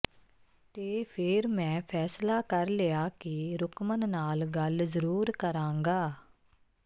ਤੇ ਫੇਰ ਮੈਂ ਫ਼ੈਸਲਾ ਕਰ ਲਿਆ ਕਿ ਰੁਕਮਨ ਨਾਲ ਗੱਲ ਜ਼ਰੂਰ ਕਰਾਂਗਾ